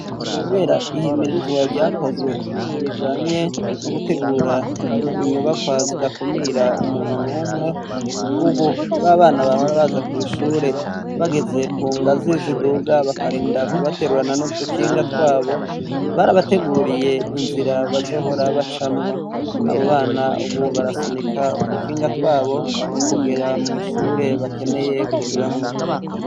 Kubera ihimirizwa ryakozwe rijanye no gutegura inyubakwa zidakumira umuntu numwe, ubu ba bana bahora baza kw'ishure bageze ku ngazi ziduga bakarinda kubaterurana n'udukinga twabo, barabateguriye inzira bazohora bacamwo. Abo bana ubu barasunika udukinga twabo kugera mw' ishure bakeneye kujamwo.